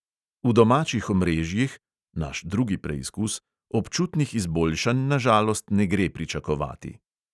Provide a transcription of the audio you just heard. V domačih omrežjih (naš drugi preizkus) občutnih izboljšanj na žalost ne gre pričakovati.